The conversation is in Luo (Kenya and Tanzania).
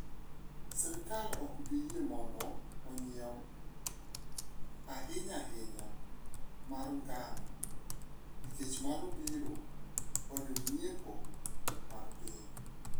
"Sirkal ok bi yie mondo onyiew, ahinya ahinya mar ngano, nikech mano biro konyo ng'iepo mag piny."